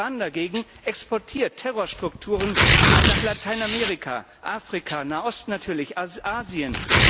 Iran dagegen exportiert Terrorstrukturen nach Lateinamerika, Afrika, Nahost natürlich, Asien.